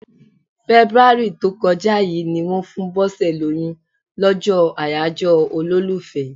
Fẹ́búárì tó kọjá yí ni wón fún Bose lóyún, lọ́jọ́ àyájọ́ olólùfẹ́.